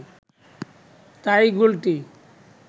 তাই গোলটি